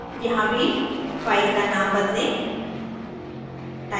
यहाँ भी फाइल का नाम बदलें